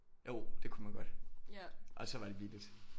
Jo det kunne man godt og så var det billigt